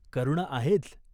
करुणा आहेच.